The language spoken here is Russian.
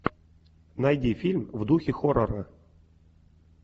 найди фильм в духе хоррора